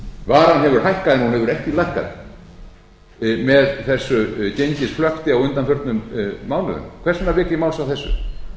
hún hefur ekki lækkað með þessu gengisflökti á undanförnum mánuðum hvers vegna vek ég máls á þessu vegna þess